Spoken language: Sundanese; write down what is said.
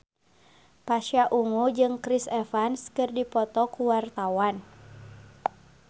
Pasha Ungu jeung Chris Evans keur dipoto ku wartawan